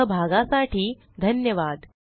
सहभागासाठी धन्यवाद